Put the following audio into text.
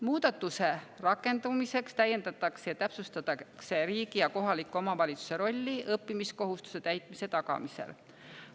Muudatuse rakendumiseks täiendatakse ja täpsustatakse riigi ja kohaliku omavalitsuse rolli õppimiskohustuse täitmise tagamisel.